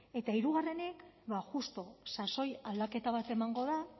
eta hirugarrenik ba justu sasoi aldaketa bat emango da